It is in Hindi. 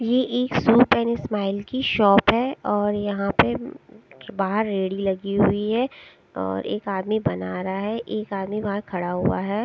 ये एक सूप एंड स्माइल की शॉप है और यहां पे बाहर रेड़ी लगी हुई है और एक आदमी बन रहा है एक आदमी वहां खड़ा हुआ है।